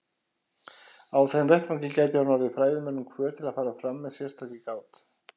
Á þeim vettvangi gæti hún orðið fræðimönnum hvöt til að fara fram með sérstakri gát.